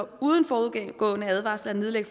uden forudgående varsel at